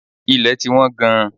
Ilẹ̀ ti wọ́n gan.